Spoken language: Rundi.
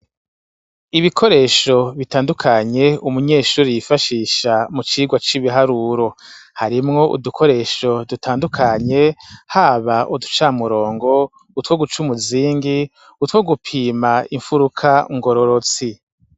Ibikoresho bitandukanye umunyeshuri yifashisha mu cirwa c'ibiharuro harimwo udukoresho dutandukanye haba uduca murongo utwo guca umuzingi utwo gupima imfuruka ungororo ti.